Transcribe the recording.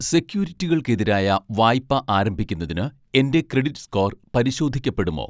സെക്യൂരിറ്റികൾക്കെതിരായ വായ്പ ആരംഭിക്കുന്നതിന് എൻ്റെ ക്രെഡിറ്റ് സ്കോർ പരിശോധിക്കപ്പെടുമോ